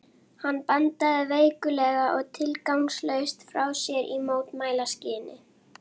Hann bandaði veiklulega og tilgangslaust frá sér í mótmælaskyni.